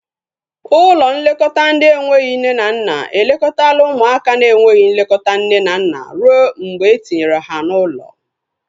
Ụlọ nlekọta ndị enweghị nne na nna elekọtala ụmụaka na enweghị nlekọta nne na nna rue mgbe etinyere ha n'ụlọ